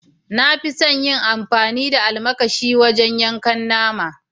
Na fi son yin amfani da almakashi wajen yankan nama.